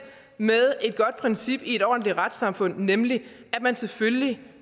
med et godt princip i et ordentligt retssamfund nemlig at man selvfølgelig